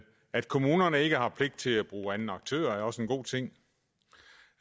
at kommunerne ikke har pligt til at bruge anden aktør er også en god ting